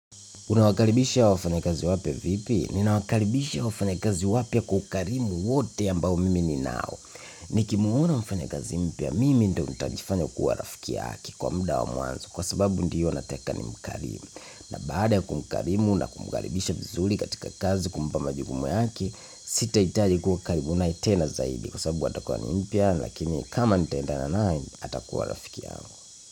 Unawakaribisha wafanyakazi wapya vipi? Ninawakaribisha wafanyakazi wapya kwa ukarimu wote ambao mimi ni nao. Nikimwona mfanyakazi mpya mimi ndo nitajifanya kuwa rafiki yake kwa muda wa mwanzo kwa sababu ndiyo nataka ni mkarimu. Na baada ya kumkarimu na kumkaribisha vizuri katika kazi kumpa majukumu yake sita hitaji kuwa karibu naye tena zaidi kwa sababu atakuwa ni mpya lakini kama nitaendana naye atakuwa rafiki yangu.